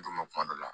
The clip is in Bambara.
N tun bɛ kuma dɔ la